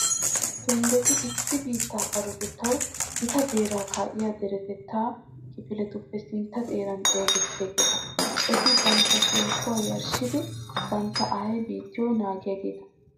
Tonddetti issi biittaa sarotettawu gita beeraa kaa'iya deretettaa kifiletuppe sintta xeeran xeesettiyageeta. Eti bantta shemppuwaa yarshshidi bantta aayee biittiyo naagiyageeta .